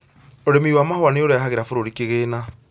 Ũrĩmi wa mahũa nĩ ũrehagĩra bũrũri kĩgĩna